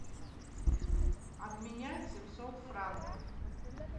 обменять семьсот франков